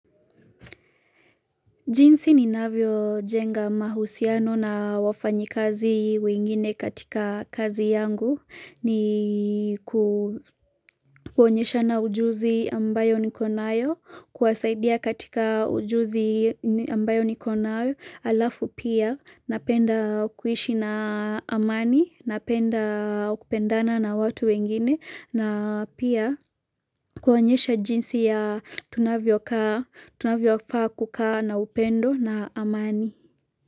Jinsi ninavyojenga mahusiano na wafanyikazi wengine katika kazi yangu ni kuonyeshana ujuzi ambayo niko nayo, kuwasaidia katika ujuzi ambayo niko nayo alafu pia, napenda kuishi na amani, napenda kupendana na watu wengine, na pia kuonyesha jinsi ya tunavyofaa kukaa na upendo na amani.